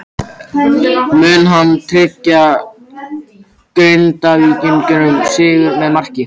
Mun hann tryggja Grindvíkingum sigurinn með marki?